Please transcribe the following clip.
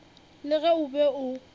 le ge o be o